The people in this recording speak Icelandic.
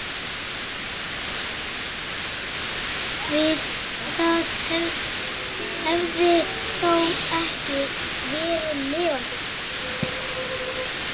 Við það hefði þó ekki verið lifandi.